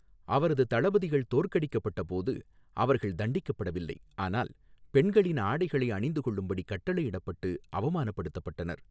அவரது தளபதிகள் தோற்கடிக்கப்பட்டபோது அவர்கள் தண்டிக்கப்படவில்லை, ஆனால் பெண்களின் ஆடைகளை அணிந்துகொள்ளும்படி கட்டளையிடப்பட்டு அவமானப் படுத்தப்பட்டனர்.